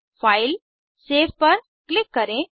फाइलगटसेव पर क्लिक करें